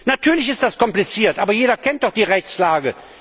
Natürlich ist das kompliziert, aber jeder kennt doch die Rechtslage!